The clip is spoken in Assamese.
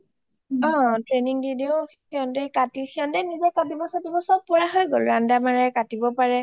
অ training দিলেও হিহঁতে কাটি হিহতে নিজে কৰিব সতিব সব পৰা হৈ গল ৰন্দা মাৰে কাতিব পাৰে